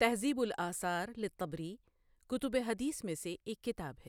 تہذیب الآثار للطبری کتب حدیث میں سے ایک کتاب ہے ۔